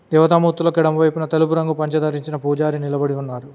తివతమూర్తులకి ఎడమవైపున తెలుపు రంగు పంచ దారించిన పూజారి నిలబడి ఉన్నారు.